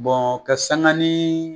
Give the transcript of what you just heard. ka sanga ni